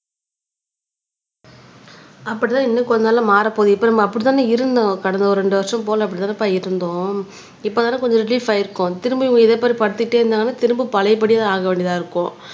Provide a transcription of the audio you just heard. அப்படிதான் இன்னும் கொஞ்ச நாள்ல மாறப்போகுது இப்ப நம்ம அப்படித்தானே இருந்தோம் கடந்த ஒரு ரெண்டு வருஷம் போல அப்படித்தானேப்பா இருந்தோம் இப்போ தான கொஞ்சம் ரிலீவ் ஆயிருக்கோம் திரும்பவும் இதே மாதிரி படுத்திட்டே இருந்தாங்கன்னா திரும்ப பழையபடிதான் ஆக வேண்டியதா இருக்கும்